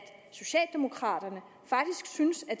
socialdemokraterne faktisk synes det